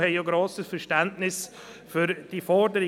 Wir haben grosses Verständnis für diese Forderung.